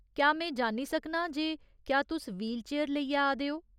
क्या में जान्नी सकनां जे क्या तुस व्हीलचेयर लेइयै आ दे ओ ?